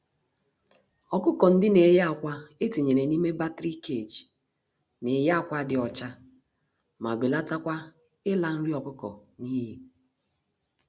Ọkụkọ-ndị-neyi-ákwà etinyere n'ime battery cage, neyi ákwà dị ọcha, ma belatakwa ịla nri ọkụkọ n'iyi.